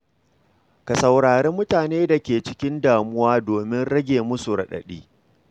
Ka saurari mutanen da ke cikin damuwa domin rage musu radadi.